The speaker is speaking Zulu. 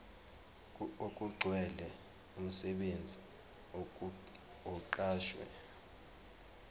okugcwele umsebenzi oqashwe